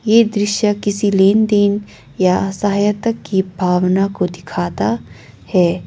ये दृश्य किसी लेनदेन या सहायता की भावना को दिखाता है।